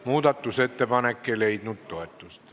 Muudatusettepanek ei leidnud toetust.